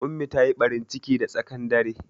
Ummi ta yi ɓarin ciki da tsaƙan dare